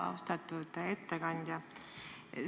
Austatud ettekandja!